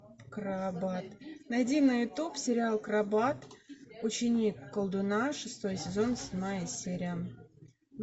крабат найди на ютуб сериал крабат ученик колдуна шестой сезон седьмая серия